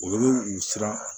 Olu u siran